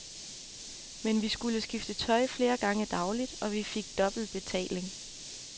Men vi skulle skifte tøj flere gange dagligt, og vi fik dobbelt betaling.